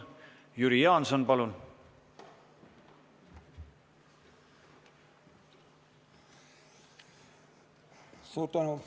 Jüri Jaanson, palun!